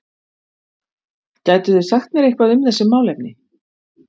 Gætuð þið sagt mér eitthvað um þessi málefni?